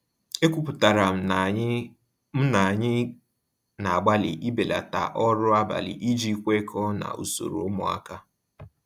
Ekwupụtara m na anyị m na anyị na-agbalị ibelata ọrụ abalị iji kwekọọ na usoro ụmụaka.